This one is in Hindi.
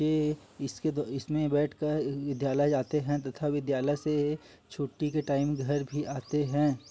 ये इसके दो इसमें बेठ कर विध्यालय जाते हैं तथा विध्यालय से छुट्टी के टाइम घर भी आते हैं।